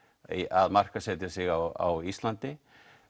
að markaðsetja sig á Íslandi